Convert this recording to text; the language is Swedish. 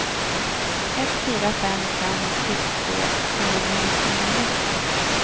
ett fyra fem fem sjuttiotvå trehundranittionio